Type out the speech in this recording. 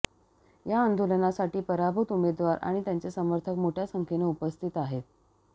या आंदोलनासाठी पराभूत उमेदवार आणि त्यांचे समर्थक मोठ्या संख्येने उपस्थित आहेत